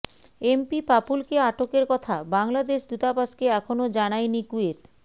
MP পাপুলকে আটকের কথা বাংলাদেশ দূতাবাসকে এখনো জানায়নি কুয়েত